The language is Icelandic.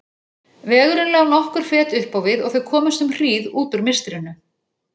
Vegurinn lá nokkur fet upp á við og þau komust um hríð út úr mistrinu.